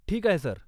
ठीक आहे, सर.